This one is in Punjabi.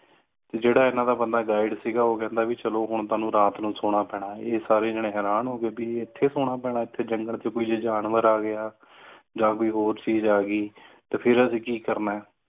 ਜਿਹੜਾ ਇਹਨਾਂ ਦਾ ਬੰਦਾ guide ਸੀਗਾ ਉਹ ਕਹਿੰਦਾ ਵੀ ਚਲੋ ਹੁਣ ਤੁਹਾਨੂੰ ਰਾਤ ਨੂੰ ਸੋਨਾ ਪੈਣਾ ਹੈ ਇਹ ਸਾਰੇ ਜਣੇ ਹੈਰਾਨ ਹੋ ਗਏ ਬੀ ਇਥੇ ਸੋਨਾ ਪੈਣਾ ਹੈ ਇਥੇ ਜੰਗਲ ਚ ਕੋਈ ਜਾਨਵਰ ਆ ਗਯਾ ਜਾਂ ਕੋਈ ਹੋਰ ਚੀਜ ਆ ਗਯੀ ਤੇ ਫਿਰ ਅਸੀਂ ਕੀ ਕਰਨਾ ਹੈ